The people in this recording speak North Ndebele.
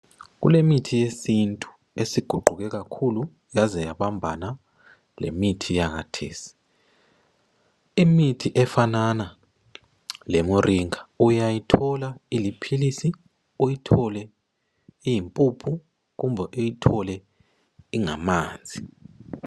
Kule mithi yesintu esiguquke kakhulu yaze yabambana lemithi yakathesi . Imithi efanana le moringa uyayithola iliphilisi , uyithole iyimpuphu kumbe uyithole ingamanzi.